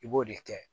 I b'o de kɛ